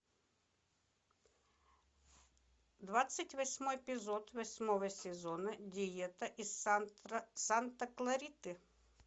двадцать восьмой эпизод восьмого сезона диета из санта клариты